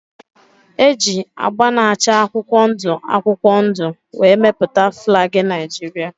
E ji agba na-acha akwụkwọ ndụ akwụkwọ ndụ wee mepụta flag Naijiria.